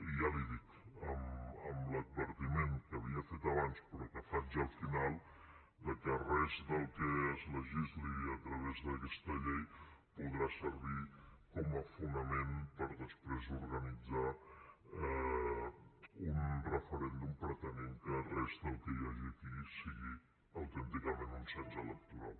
i ja li ho dic amb l’advertiment que havia fet abans però que faig al final que res del que es legisli a través d’aquesta llei podrà servir com a fonament per després organitzar un referèndum pretenent que res del que hi hagi aquí sigui autènticament un cens electoral